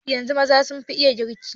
Yanzun maza sun fi iya girki.